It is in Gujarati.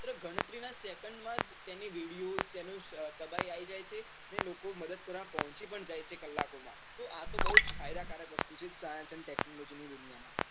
માત્ર ગણતરી નાં second માં જ તેની video તેનું તબાઈ આવી જાય છે અને લોકો મદદ કરવા પહોચી પણ જાય છે કલાકો માં તો આતો બહુ જ ફાયદા કારક વસ્તુ છે science and technology ની દુનિયા માં